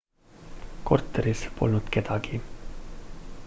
korteris polnud kedagi